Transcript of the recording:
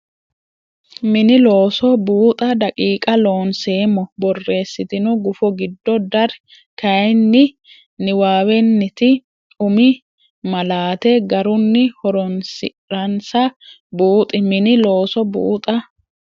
Mini Looso buuxa daqiiqa Loonseemmo borreessitino gufo giddo dar kayinni niwaawennita umi malaate garunni horoonsi ransa buuxi Mini Looso buuxa.